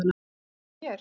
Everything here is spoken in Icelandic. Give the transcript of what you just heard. Mundirðu eftir mér?